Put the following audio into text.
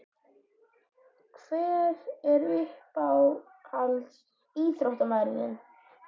Hver er uppáhalds ÍÞRÓTTAMAÐURINN þinn?